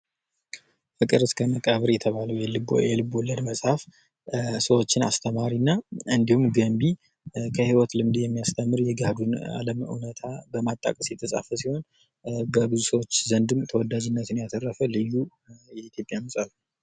ፍቅር እስከ መቃብር የተባለው የልብወለድ መፅሐፍ ሰዎችን አስተማሪ እንዲሁም ገንቢ ከህይወት ልምድ የሚያስተምር የገሃዱን አለም እውነታ በማጣቀስ የተፃፈ ሲሆን በብዙ ሰዎች ዘንድም ተወዳጅነት ያተረፈ ልዩ የኢትዮጵያ መፅሐፍ ነው ።